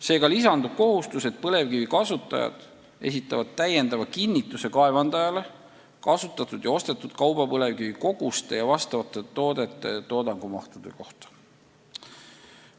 Seega lisandub kohustus, et põlevkivi kasutajad esitavad kaevandajale täiendava kinnituse kasutatud ja ostetud kaubapõlevkivi koguste ja vastavate toodete toodangumahtude kohta.